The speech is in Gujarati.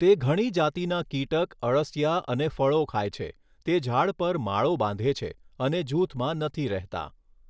તે ઘણી જાતીના કીટક અળસિયા અને ફળો ખાય છે તે ઝાડ પર માળો બાંધે છે અને જૂથમાં નથી રહેતાં.